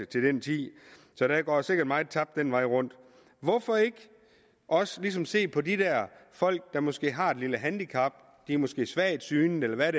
til den tid så der går sikkert meget tabt den vej rundt hvorfor ikke også ligesom se på de folk der måske har et lille handicap de er måske svagtseende eller hvad